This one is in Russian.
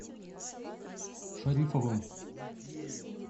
шарифовым